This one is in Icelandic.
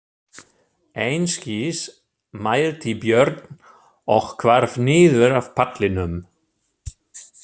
Einskis, mælti Björn og hvarf niður af pallinum.